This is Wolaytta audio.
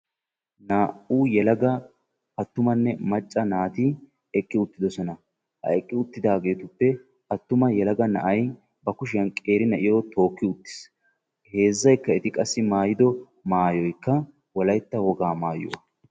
Naa'u yeelaga attumane macca naati eqqi uttidosona. Ha eqqi uttidagetupe attumay yeelaga naa'ay ba kushiyan qeeri naa'iyo tooki uttis. Heezzayka eti maayido maayoyka wolaytta wogaa maayuwaa.